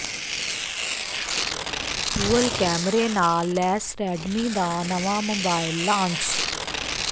dual ਕੈਮਰੇ ਨਾਲ ਲੈਸ ਰੈਡਮੀ ਦਾ ਨਵਾਂ ਮੋਬਾਇਲ ਲਾਂਚ